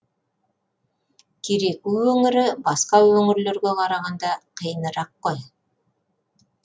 кереку өңірі басқа өңірлерге қарағанда қиынырақ қой